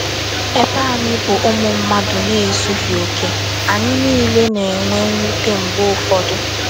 EBE anyị bụ ụmụ mmadụ na - ezughị okè, anyị niile na - enwe mwute mgbe ụfọdụ.